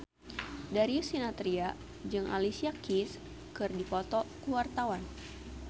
Darius Sinathrya jeung Alicia Keys keur dipoto ku wartawan